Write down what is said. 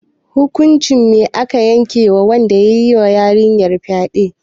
Hukuncin me aka yanke ma wanda yayi ma yarinyar fyade?